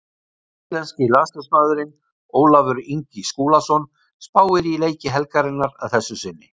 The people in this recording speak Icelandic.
Íslenski landsliðsmaðurinn Ólafur Ingi Skúlason spáir í leiki helgarinnar að þessu sinni.